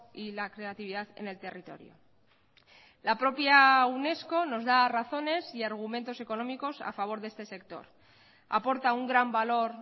y la creatividad en el territorio la propia unesco nos da razones y argumentos económicos a favor de este sector aporta un gran valor